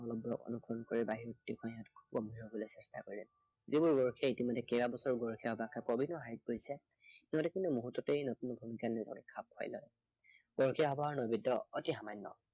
নৈবদ্য় অনুসৰণ কৰি বাহিৰত দেখুৱাই সিহঁতক অনুকৰণ কৰিবলৈ চেষ্টা কৰে। যিবোৰ গৰখীয়াই ইতিমধ্য়ে কেইবা বছৰো বয়সীয়া পাঠক কৰিছে, সিহঁতে কোনো মুহুৰ্ততে নতুন সকলৰ লগত খাপ খাই যায়। গৰখীয়া সবাহৰ নৈবদ্য় অতি সামান্য়।